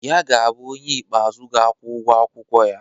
Ya ga-abụ onye ikpeazụ ga-akwụ ụgwọ akwụkwọ ya.